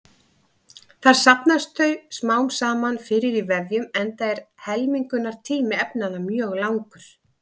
Þar safnast þau smám saman fyrir í vefjum enda er helmingunartími efnanna mjög langur.